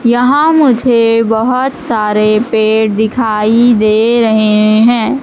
यहां मुझे बहुत सारे पेड़ दिखाई दे रहे हैं।